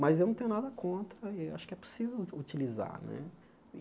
Mas eu não tenho nada contra, e acho que é possível u utilizar né.